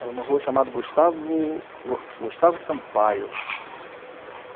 Era uma rua chamada Gustavo Sampaio.